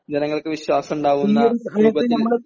ജനങ്ങൾക്ക് വിശ്വാസമുണ്ടാകുന്ന രൂപത്തിൽ